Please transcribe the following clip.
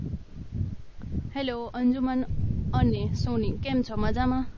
Hello Anjuman અને સોની કેમ છો મજામાં?